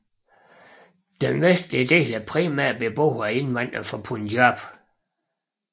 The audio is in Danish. Den vestlige del er primært beboet af indvandrere fra Punjab